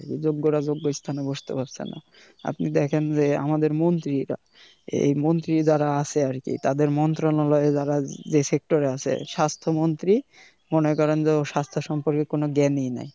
যোগ্যরা যোগ্য স্থানে বসতে পারছে না আপনি দেখেন যে আমাদের মন্ত্রি যারা এ মন্ত্রী যারা আছে আরকি তাদের মন্ত্রণালয় যারা এ যে sector এ আছে স্বাস্থ্য মন্ত্রী মনে করেন যে ও স্বাস্থ্য সম্পর্কে কোন জ্ঞানেই নাই